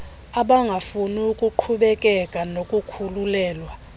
abangafuni kuqhubekeka nokukhulelwa